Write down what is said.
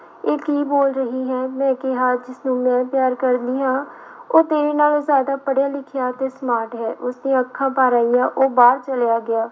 ਇਹ ਕੀ ਬੋਲ ਰਹੀ ਹੈ ਮੈਂ ਕਿਹਾ ਜਿਸਨੂੰ ਮੈਂ ਪਿਆਰ ਕਰਦੀ ਹਾਂ, ਉਹ ਤੇਰੇ ਨਾਲੋਂ ਜ਼ਿਆਦਾ ਪੜ੍ਹਿਆ ਲਿਖਿਆ ਤੇ smart ਹੈ। ਉਸਦੀਆਂ ਅੱਖਾਂ ਭਰ ਆਈਆਂ ਉਹ ਬਾਹਰ ਚਲਿਆ ਗਿਆ।